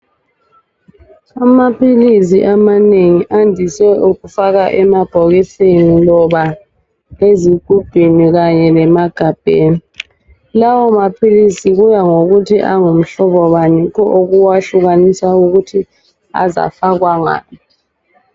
Amaphilisi amanengi andise ukufakwa eemabhokisini loba ezigubhini kanye lemagabheni. Lawo maphilisi kuya ngokuthi angumhlobo bani yikho okuwahlukanisa ukuthi azafakwa ngaphi.